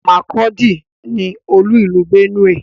Makurdi ni olú ìlú Benue.